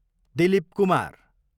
Dilip Kumar